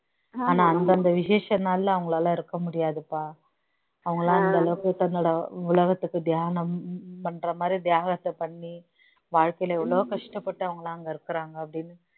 ஆனா அந்தந்த விசேஷ நாள்ல அவங்களால இருக்க முடியாதுப்பா அவங்க எல்லாம் அந்த அளவுக்கு தன்னோட உலகத்துக்கு தியானம் பண்ற மாதிரி தியாகத்தை பண்ணி வாழ்க்கையில எவ்வளவோ கஷ்டப்பட்டவங்களா அங்க இருக்குறாங்க அப்படீன்னு